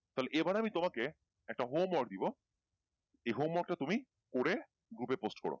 তাহলে এবার আমি তোমাকে একটা home work দেবো এই home work টা তুমি করে group এ post করো